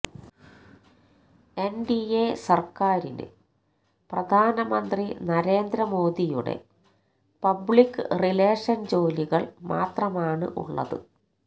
NDA സർക്കാരിന് പ്രധാനമന്ത്രി നരേന്ദ്ര മോദിയുടെ പബ്ലിക് റിലേഷൻ ജോലികൾ മാത്രമാണുള്ളത്